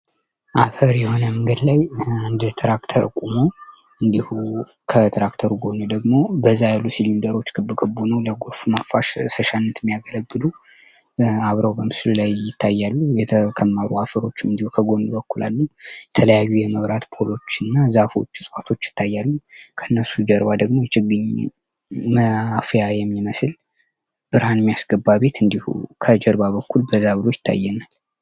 አፈር የሆነ መንገድ ላይ አንድ ትራክተር ቆሞ እንዲሁ ከትራክተሩ ጎን ደግሞ በዛ ያሉ ሲሊንዳሮች ክብክ ብ ሆነው ለጎርፍ መፋሰሻነት የሚያገለግሉ አብረው በምስሉ ላይ ይታያሉ የተከመሩ አፈሮችን እንዲሁ ከጎን በኩል አሉ ። የተለያዩ የመብራት ፖሎች እና ዛፎች እፅዋቶች ይታያሉ ከእነሱ ጀርባ ደግሞ የችግኝ ማፊያ የሚመስል ብርሃን የሚያስገባ ቤት እንዲሁም ከጀርባ በኩል ገባ ብሎ ይታየናል ።